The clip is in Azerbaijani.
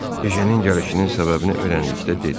Ejənin gəlişinin səbəbini öyrəndikdə dedi: